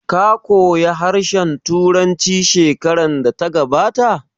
Ka koya harshen Turanci shekarar da ta gabata?